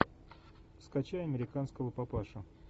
скачай американского папашу